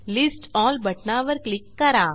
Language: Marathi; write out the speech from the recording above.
लिस्ट एल बटणावर क्लिक करा